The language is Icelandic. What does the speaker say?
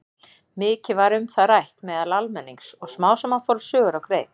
Mikið var um það rætt meðal almennings og smám saman fóru sögur á kreik.